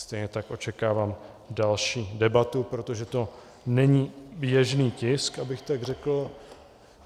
Stejně tak očekávám další debatu, protože to není běžný tisk, abych tak řekl.